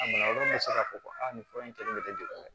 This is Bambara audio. A bana wɛrɛ bɛ se ka fɔ ko aa nin fura in kɛlen bɛ kɛ